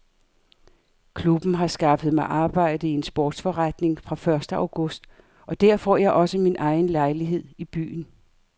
Klubben har skaffet mig arbejde i en sportsforretning fra første august og der får jeg også min egen lejlighed i byen.